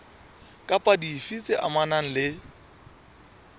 kapa dife tse amanang le